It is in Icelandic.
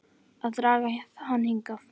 Að draga hann hingað.